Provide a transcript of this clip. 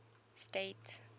state